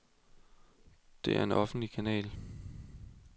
Det er en offentlig kanal.